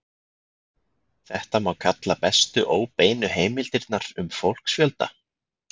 Þetta má kalla bestu óbeinu heimildirnar um fólksfjölda.